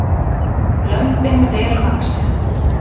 Lömbin vel vaxin